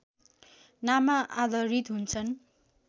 नाममा आधारित हुन्छन्